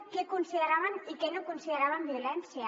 què consideraven i què no consideraven violència